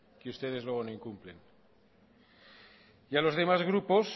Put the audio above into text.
que ustedes luego no incumplen y a los demás grupos